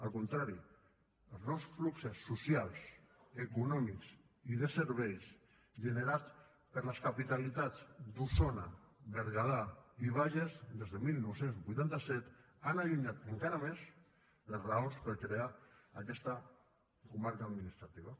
al contrari els nous fluxos socials econòmics i de serveis generats per les capitalitats d’osona berguedà i bages des de dinou vuitanta set han allunyat encara més les raons per crear aquesta comarca administrativa